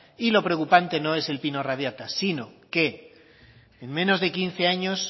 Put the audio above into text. y lo preocupante no es el pino radiata sino que en menos de quince años